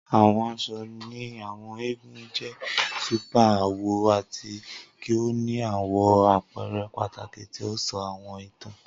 Awọn aṣọ ni Àwọn eégún jẹ super awọ ati ki o ni awọn apẹrẹ pataki ti o sọ awọn itan.